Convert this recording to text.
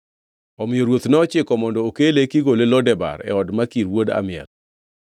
Omiyo ruoth nochiko mondo okele kigole Lo Debar e od Makir wuod Amiel.